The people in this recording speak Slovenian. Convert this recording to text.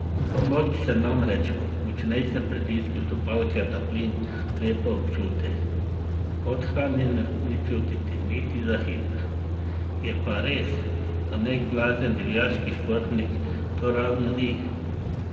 Moč se namreč ob močnejšem pritisku stopalke na plin lepo občuti, podhranjenosti ni čutiti niti za hip, je pa res, da nek blazen divjaški športnik to ravno ni.